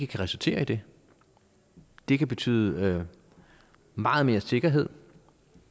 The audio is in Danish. kan resultere i det det kan betyde meget mere sikkerhed